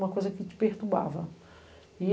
Uma coisa que te perturbava. E